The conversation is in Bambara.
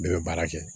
Bɛɛ bɛ baara kɛ